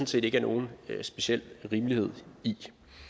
set ikke er nogen speciel rimelighed i